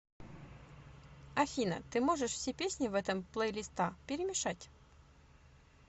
афина ты можешь все песни в этом плейлиста перемешать